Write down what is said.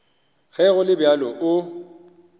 ge go le bjalo o